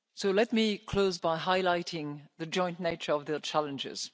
Let me close by highlighting the joint nature of the challenges.